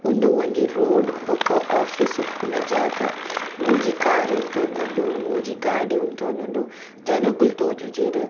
ಉಂದು ಒಂಜಿ ರೋಡ್ ಬೊಕ ಓಫೀಸ್ ಉಪ್ಪುನ ಜಾಗ ಮೂಜಿ ಕಾರ್ ಉಂತೊಂದುಂಡು ಮೂಜಿ ಗಾಡಿ ಉಂತೊಂದುಂಡು ಜನೊಕುಲು ತೋಜುಜೆರ್.